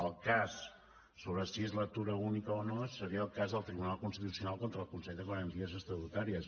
el cas sobre si és lectura única o no seria el cas del tribunal constitucional contra el consell de garanties estatutàries